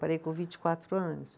Parei com vinte e quatro anos.